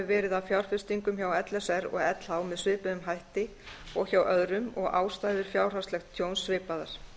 verið að fjárfestingum hjá l s r og lh með svipuðum hætti og hjá öðrum og ástæður fjárhagslegs tjóns svipaðar